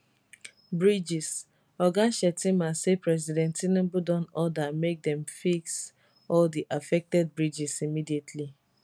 bridgesoga shettima say president tinubu don order make dem fix all di affected bridges immediately